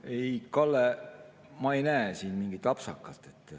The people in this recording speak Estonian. Ei, Kalle, ma ei näe siin mingit apsakat.